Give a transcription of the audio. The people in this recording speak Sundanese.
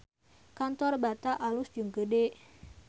Kantor Bata alus jeung gede